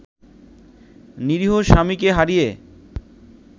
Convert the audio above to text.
নিরীহ স্বামীকে হারিয়ে